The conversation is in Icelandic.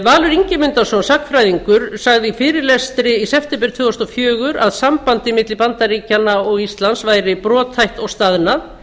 valur ingimundarson sagnfræðingur sagði í fyrirlestri í september tvö þúsund og fjögur að sambandið milli bandaríkjanna og íslands væri brothætt og staðnað